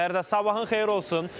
Fəridə, sabahın xeyir olsun.